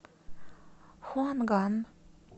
хуанган